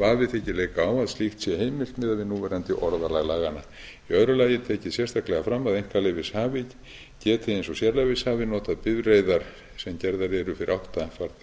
vafi þykir leika á að slíkt sé heimilt miðað við núverandi orðalag laganna í öðru lagi er tekið sérstaklega fram að einkaleyfishafi geti eins og sérleyfishafi notað bifreiðar sem gerðar eru fyrir átta farþega og færri